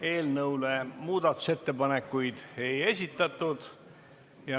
Eelnõu kohta muudatusettepanekuid ei esitatud.